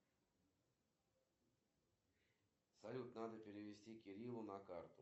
афина как оформить быстрый платеж через мобильный банк сбербанка